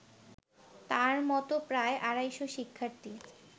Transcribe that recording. তার মতো প্রায় আড়াইশ শিক্ষার্থী